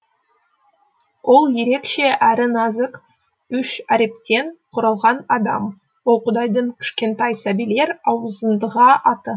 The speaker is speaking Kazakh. ол ерекше әрі нәзік үш әріптен құралған адам ол құдайдың кішкентай сәбилер аузындағы аты